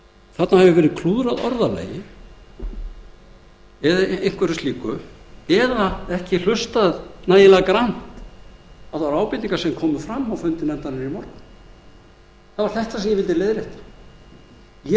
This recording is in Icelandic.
þarna hefur orðalagi verið klúðrað eða einhverju slíku eða ekki hlustað nægilega grannt á þær ábendingar sem komu fram á fundi nefndarinnar í morgun þetta vildi ég leiðrétta ég